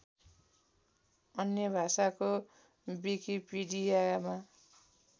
अन्य भाषाको विकिपीडियामा